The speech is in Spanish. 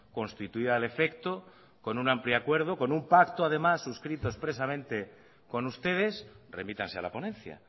constituida al efecto con un amplio acuerdo con un pacto además suscrito expresamente con ustedes remítanse a la ponencia